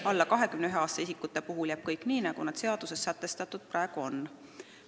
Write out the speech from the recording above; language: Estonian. Alla 21-aastaste isikute puhul jääb kõik nii, nagu praegu seaduses sätestatud on.